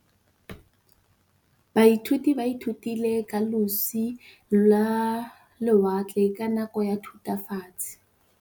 Baithuti ba ithutile ka losi lwa lewatle ka nako ya Thutafatshe.